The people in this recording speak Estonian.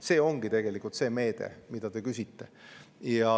See ongi tegelikult see meede, mille kohta te küsisite.